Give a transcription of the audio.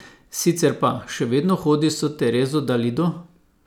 Sicer pa, še vedno hodiš s Terezo Dalido?